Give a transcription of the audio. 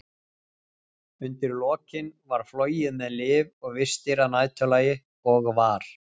Undir lokin var flogið með lyf og vistir að næturlagi, og var